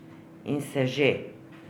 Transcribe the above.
In se že.